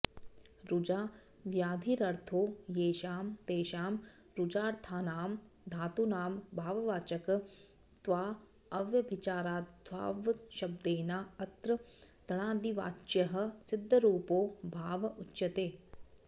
रुजा व्याधिरर्थो येषां तेषां रुजार्थानां धातूनां भाववाचकत्वाऽव्यभिचाराद्भावशब्देनाऽत्र घञादिवाच्यः सिद्धरूपो भाव उच्यते